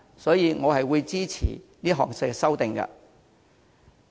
所以，我會支持田議員的修正案。